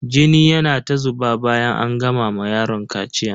Jini yana ta zuba bayan an gama ma yaron kaciyan.